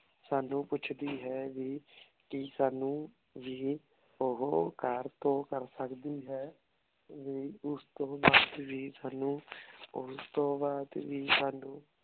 ਸਾਨੂ ਪ੍ਪੋਚ੍ਦੀ ਹੈ ਕੀ ਸਾਨੂ ਵੀ ਓਹੋ ਕਰ ਤੋਂ ਕਰ ਸਕਦੀ ਹੈ ਓਸ ਤੋਂ ਬਾਅਦ ਵੀ ਸਾਨੂ ਓਸ ਤੋਂ ਬਾਅਦ ਵੀ ਸੌ